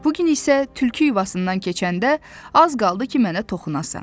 Bu gün isə tülkü yuvasından keçəndə az qaldı ki, mənə toxunasan.